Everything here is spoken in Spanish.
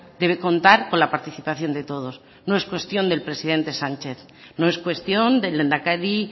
debe contar con la participación de todos no es cuestión del presidente sánchez no es cuestión del lehendakari